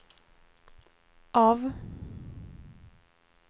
av